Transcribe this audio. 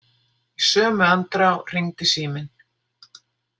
Í sömu andrá hringdi síminn.